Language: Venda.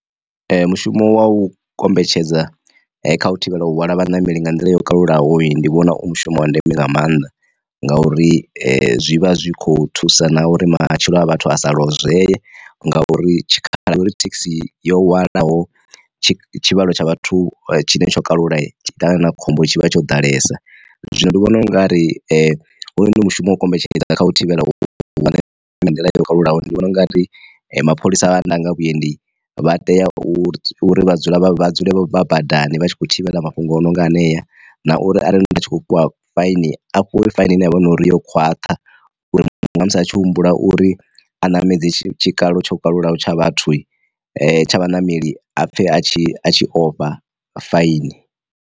Mu shumo wa u kombetshedza kha u thivhela u hwala vha nameli nga nḓila yo kalulaho ye ndi vhona u mu shumo wa ndeme nga maanḓa nga uri zwi vha zwi kho thusa na uri matshilo a vhathu a sa lozwee ngauri tshikhala uri thekhisi yo wanalaho tshivhalo tsha vhathu tshine tsho kalula ṱangana na khombo tshi vha tsho ḓalesa. Zwino ndi vhona ungari hone mushumo wo kombetshedza kha u thivhela u wane nga nḓila yo kalulaho, ndi vhona u nga ri mapholisa vha ndanga vhuendi vha tea uri u dzula vha dzule vha badani vha tshi kho thivhela mafhungo o no nga anea, na uri arali ndi tshi khou fhiwa faini a fhiwe faini ine yavha uri yo khwaṱha nga musi a tshi humbula uri a namedza tshikalo tsho kalulaho tsha vhathu tsha vhaṋameli a pfhe a tshi a tshi ofha faini.